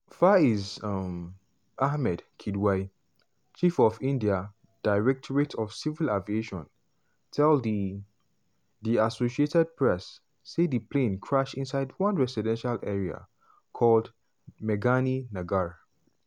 faiz um ahmed kidwai chief of india directorate of civil aviation tell di di associated press say di plane crash inside one residential area called meghani nagar.